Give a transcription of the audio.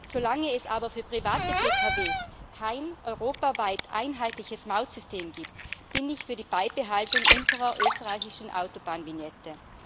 Solange es aber für private Pkw kein europaweit einheitliches Mautsystem gibt, bin ich für die Beibehaltung unserer österreichischen Autobahnvignette.